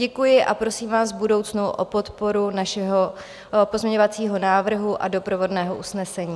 Děkuji a prosím vás v budoucnu o podporu našeho pozměňovacího návrhu a doprovodného usnesení.